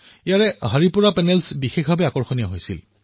ইয়াত হৰিপুৰা পেনেলৰ বিশেষ ৰূপ অধিক আকৰ্ষণীয় হৈছিল